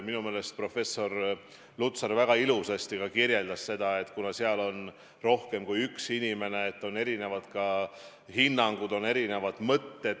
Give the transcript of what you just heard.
Minu meelest professor Lutsar väga ilusasti seletas, et kuna nõukogus on rohkem kui üks inimene, siis on ka erinevaid hinnanguid, on erinevaid mõtteid.